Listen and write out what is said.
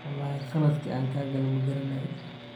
Wlxi qaladhki an kakale magaranayi.